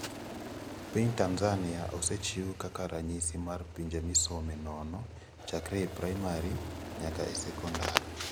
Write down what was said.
Piny Tanzania osechiw kaka ranyisi mar pinje misome nono chakre e primary nyaka e sekondar.